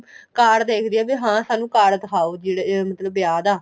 card ਦੇਖਦੀ ਆ ਸਾਨੂੰ card ਦਿਖਾਓ ਜਿਹੜਾ ਮਤਲਬ ਵਿਆਹ ਦਾ